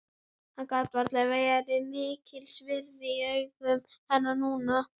Hann getur varla verið mikils virði í augum hennar núna.